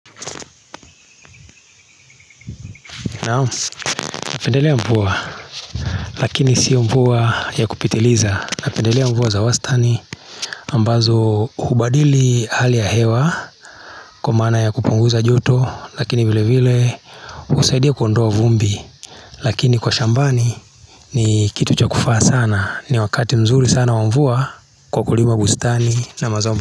Napendelea mvua lakini si mvua ya kupitiliza napendelea mvua za wastani ambazo hubadili hali ya hewa kwa maana ya kupunguza joto lakini vilevile husaidia kuondoa vumbi lakini kwa shambani ni kitu cha kufaa sana ni wakati mzuri sana mvua kwa kulima bustani na mazao.